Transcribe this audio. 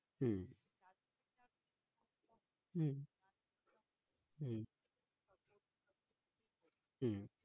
হম হম হম